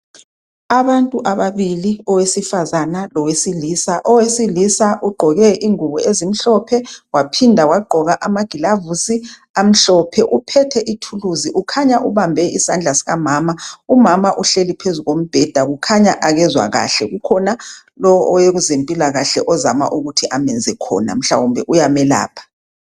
Abantu ababili owesifazana lowesilisa owesilisa ugqoke ingubo ezimhlophe waphinda wagqoka amagilovisi amhlophe uphethe ithuluzi ukhanya ubambe isandla sikamama umama uhleli phezu kombheda kukhanya akezwa kahle kukhona lo owezempilakahle ozama ukuthi amenze khona mhlawumbe uyamelapha.